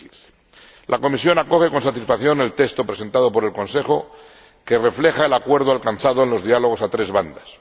2015. La Comisión acoge con satisfacción el texto presentado por el Consejo, que refleja el acuerdo alcanzado en los diálogos a tres bandas